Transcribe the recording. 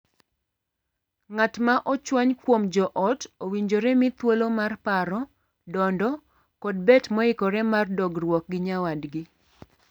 Ng'at ma ochwany kuom joot owinjore mii thuolo mar paro, dondo, kod bet moikore mar duogruok gi nyawadgi.